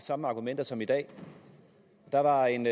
samme argumenter som i dag der var en